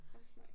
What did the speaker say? Også mig